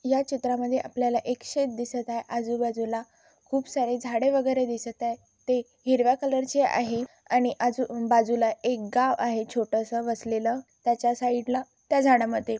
या चित्रा मध्ये आपल्याला एक शेत दिसत आहे आजूबाजूला खूप सारे झाडे वगैरे दिसत आहे ते हिरव्या कलरचे आहे आणि आजू बाजूला एक गाव आहे छोटसं वसलेल त्याच्या साईडला त्या झाडा मध्ये --